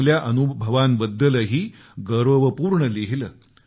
चांगल्या अनुभवांबद्दलही गौरवपूर्ण लिहिलं